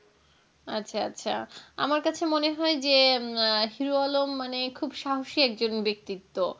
আচ্ছা আচ্ছা আমার কাছে মনে হয় যে আহ হীরু আলম মানে খুব সাহস একজন ব্যাক্তিত্ব,